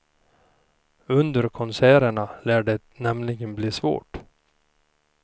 Under konserterna lär det nämligen bli svårt.